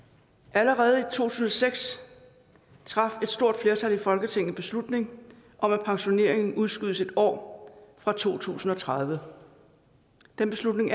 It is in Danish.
allerede i tusind og seks traf et stort flertal i folketinget beslutning om at pensioneringen udskydes et år fra to tusind og tredive den beslutning